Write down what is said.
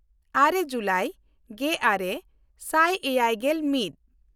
ᱟᱨᱮ July ᱜᱮᱼᱟᱨᱮ ᱥᱟᱭ ᱮᱭᱟᱭᱜᱮᱞ ᱢᱤᱫ